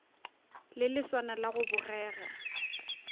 le leswana la go bogega